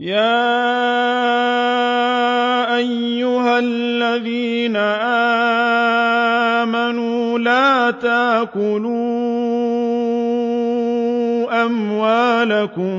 يَا أَيُّهَا الَّذِينَ آمَنُوا لَا تَأْكُلُوا أَمْوَالَكُم